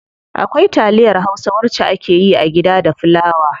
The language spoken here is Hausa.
Akwai taliyar hausa wacce akeyi a gida da fulawa.